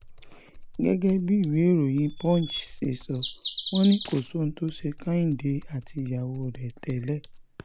gẹ́gẹ́ bí ìwéèròyìn punch ṣe sọ wọ́n ni kò sóhun tó ṣe kíhìndé àti ìyàwó rẹ̀ tẹ́lẹ̀